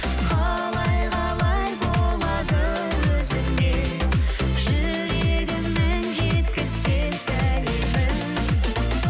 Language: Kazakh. қалай қалай болады өзіңе жүрегімнің жеткізсем сәлемін